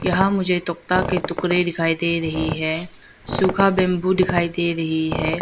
यहां मुझे एक तखता के टुकड़े दिखाई दे रही है सूखा बंबू दिखाई दे रही है।